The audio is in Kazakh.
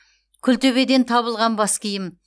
күлтөбеден табылған бас киім